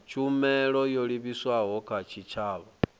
tshumelo yo livhiswaho kha tshitshavha